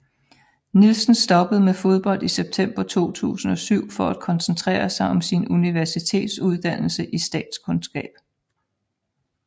Nielsen stoppede med fodbold i september 2007 for at koncentrere sig om sin universitetsudannelse i statskundskab